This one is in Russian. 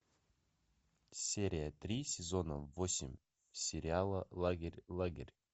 серия три сезона восемь сериала лагерь лагерь